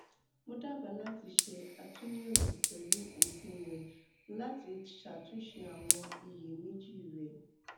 mo daba lati ṣe atunyẹwo pẹlu oogun rẹ lati ṣatunṣe awọn iyemeji rẹ